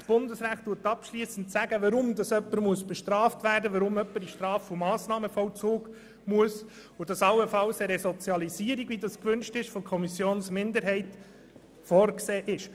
Das Bundesrecht sagt abschliessend, warum jemand bestraft werden muss, warum jemand in den Straf- und Massnahmenvollzug kommt, und dass allenfalls eine Resozialisierung, wie das von der Kommissionsminderheit gefordert wird, vorgesehen ist.